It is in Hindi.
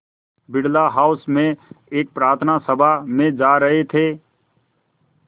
बिड़ला हाउस में एक प्रार्थना सभा में जा रहे थे